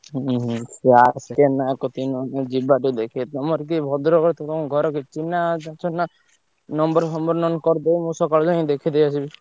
ହୁଁ ହୁଁ ସେ R.K. ନାୟକ କତିକି ନହେଲେ ଯିବା ଟିକେ ଦେଖେଇଦବା। ତମର କିଏ ଭଦ୍ରକର ତମ ଘର କତିରେ ଚିହ୍ନା ଅଛନ୍ତି ନା? number ଫମ୍ବର ନହେଲେ କରିଦେବେ ମୁଁ ସକାଳେ ଯାଇ ଦେଖେଇଦେଇ ଆସିବି।